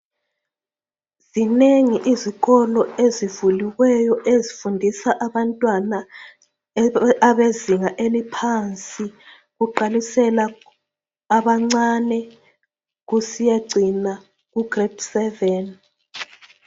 Zinengi izikolo ezivuliweyo ezifundisa abantwana bezinga eliphansi kuqalisela kwabancane kusiyefika kubanga lesikhombisa.